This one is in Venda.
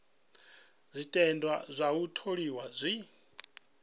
zwiteṅwa zwa u tholiwa zwi